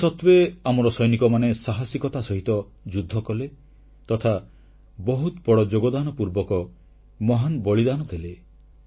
ଏହାସତ୍ୱେ ଆମର ସୈନିକମାନେ ସାହସିକତା ସହିତ ଯୁଦ୍ଧକଲେ ତଥା ବହୁତ ବଡ଼ ଯୋଗଦାନ ପୂର୍ବକ ମହାନ ବଳିଦାନ ଦେଲେ